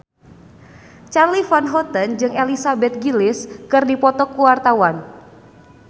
Charly Van Houten jeung Elizabeth Gillies keur dipoto ku wartawan